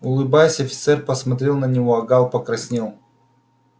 улыбаясь офицер посмотрел на него а гаал покраснел